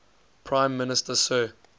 prime minister sir